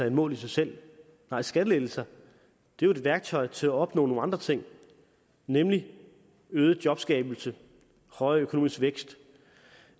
et mål i sig selv nej skattelettelser er et værktøj til at opnå nogle andre ting nemlig øget jobskabelse højere økonomisk vækst